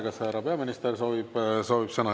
Kas härra peaminister soovib sõna?